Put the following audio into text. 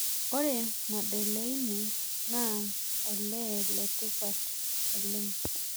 Ore Madeleine naa olee letipat oleng'